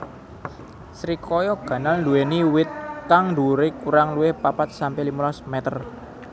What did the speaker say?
Srikaya ganal nduwéni wit kang dhuwuré kurang luwih papat sampe limolas métér